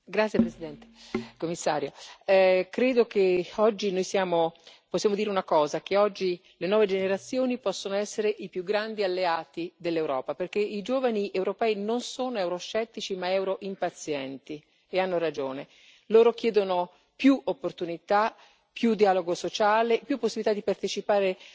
Signora Presidente, onorevoli colleghi, signor Commissario, credo che oggi noi possiamo dire una cosa che oggi le nuove generazioni possono essere i più grandi alleati dell'Europa, perché i giovani europei non sono euroscettici ma euroimpazienti, e hanno ragione. Loro chiedono più opportunità, più dialogo sociale, più possibilità di partecipare